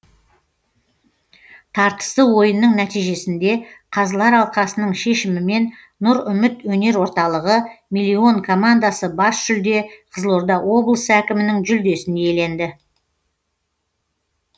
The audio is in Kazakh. тартысты ойынның нәтижесінде қазылар алқасының шешімімен нұр үміт өнер орталығы миллион командасы бас жүлде қызылорда облысы әкімінің жүлдесін иеленді